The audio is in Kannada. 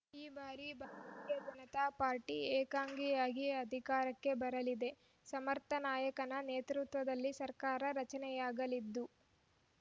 ಈ ಬಾರಿ ಭಾರತೀಯ ಜನತಾ ಪಾರ್ಟಿ ಏಕಾಂಗಿಯಾಗಿ ಅಧಿಕಾರಕ್ಕೆ ಬರಲಿದೆ ಸಮರ್ಥ ನಾಯಕನ ನೇತೃತ್ವದಲ್ಲಿ ಸರ್ಕಾರ ರಚನೆಯಾಗಲಿದ್ದು